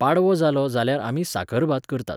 पाडवो जालो जाल्यार आमी साकरभात करतात.